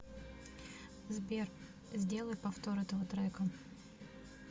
сбер сделай повтор этого трека